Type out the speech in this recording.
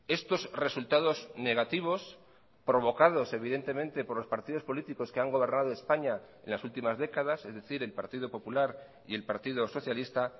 estos resultados negativos provocados evidentemente por los partidos políticos que han gobernado españa en las últimas décadas es decir el partido popular y el partido socialista